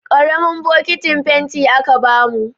Ƙaramin bokitin fenti aka bamu.